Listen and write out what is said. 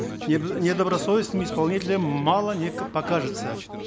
недобросовестным исполнителям мало не покажется